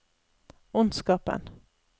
ondskapen